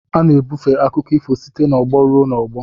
A na-ebufe akụkọ ifo site n'ọgbọ ruo n'ọgbọ